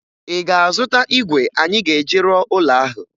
Ị ga-azụta igwe anyị ga-eji rụọ ụlo ahụ?